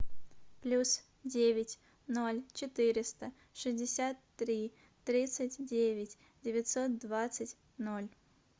плюс девять ноль четыреста шестьдесят три тридцать девять девятьсот двадцать ноль